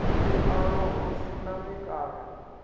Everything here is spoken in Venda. vhuḓalo hu si na mikano